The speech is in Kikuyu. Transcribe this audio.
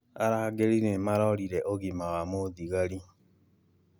Arangari nĩ marorire ũgima wa mũthigari